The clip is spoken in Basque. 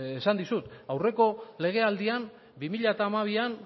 esan dizut aurreko legealdian bi mila hamabian